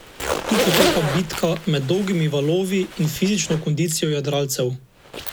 Tu poteka bitka med dolgimi valovi in fizično kondicijo jadralcev.